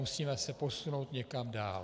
Musíme se posunout někam dál.